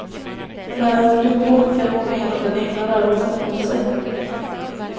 När han skrev på fick han många inom den egna rörelsen emot sig.